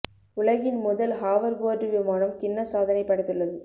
உலகின் முதல் ஹாவர்போர்டு விமானம் கின்னஸ் சாதனை படைத்துள்ளது